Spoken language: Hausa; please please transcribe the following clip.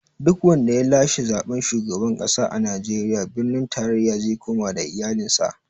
Duk wanda ya lashe zaɓen shugaban ƙasa a Najeriya, birnin tarayya ze koma da iyalin sa